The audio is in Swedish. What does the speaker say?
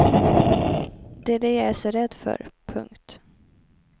Det är det jag är så rädd för. punkt